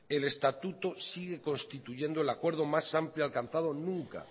el estatuto sigue constituyendo el acuerdo más amplio alcanzado nunca